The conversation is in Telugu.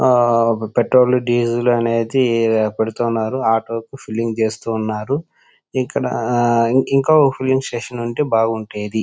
పెట్రోల్ డీజిల్ అనేది పెడుతున్నారు. ఆటో లకి ఫీలింగ్ చేస్తున్నారు. ఇంకొక ఫిల్లింగ్ స్టేషన్ ఉంటే బాగుండేది.